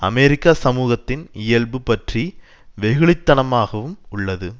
அமெரிக்க சமூகத்தின் இயல்பு பற்றி வெகுளித்தனமாகவும் உள்ளது